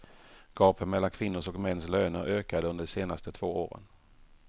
Gapet mellan kvinnors och mäns löner ökade under de två senaste åren.